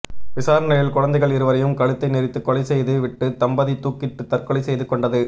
விசாரணையில் குழந்தைகள் இருவரையும் கழுத்தை நெரித்து கொலை செய்து விட்டு தம்பதி தூக்கிட்டு தற்கொலை செய்து கொண்டது